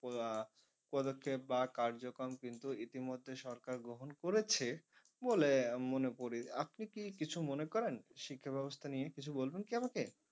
আহ পদক্ষেপ বা কার্যক্রম কিন্তু ইতি মধ্যে সরকার গ্রহণ করেছে বলে মনে করি আপনি কি কিছু মনে করেন শিক্ষা ব্যবস্থা নিয়ে কিছু বলবেন কি আমাকে?